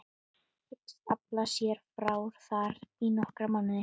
Hyggst afla sér fjár þar í nokkra mánuði.